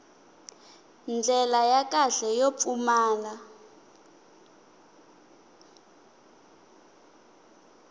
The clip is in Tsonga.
ndlela ya kahle yo pfumala